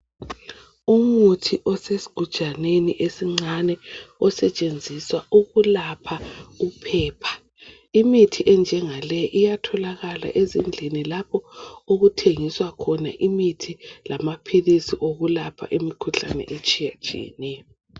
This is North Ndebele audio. Umuthi osesgujaneni esincane osetshenziswa ukulapha uphepha. Imithi enjengale iyatholakala ezindlini lapho okuthengiswa khona imithi lamaphilisi okulapha imikhuhlane etshiyatshiyeneyo.